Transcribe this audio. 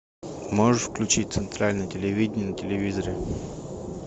можешь включить центральное телевидение на телевизоре